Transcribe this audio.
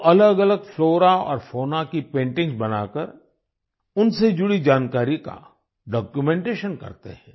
वो अलगअलग फ्लोरा और फौना की पेंटिंग्स बनाकर उनसे जुड़ी जानकारी का डॉक्यूमेंटेशन करते हैं